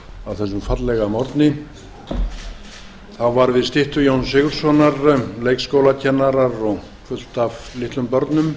þessum fallega morgni þá voru við styttu jóns sigurðssonar leikskólakennarar og fullt af litlum börnum